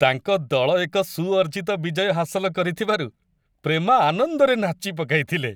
ତାଙ୍କ ଦଳ ଏକ ସୁଅର୍ଜିତ ବିଜୟ ହାସଲ କରିଥିବାରୁ ପ୍ରେମା ଆନନ୍ଦରେ ନାଚି ପକାଇଥିଲେ।